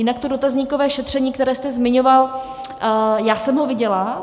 Jinak to dotazníkové šetření, které jste zmiňoval, já jsem ho viděla.